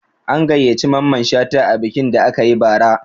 An gayyaci Mamman Shata a bikin da aka yi bara